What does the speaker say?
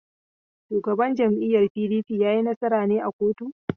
Shugaban jam'iyyar PDP ya yi nasara ne a koto?